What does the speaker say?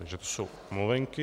Takže to jsou omluvenky.